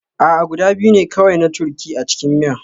A'a, guda biyu ne kawai na turkey a cikin miya